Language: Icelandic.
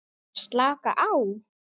Slaka á?